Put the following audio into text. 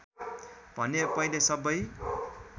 भने पहिले सबै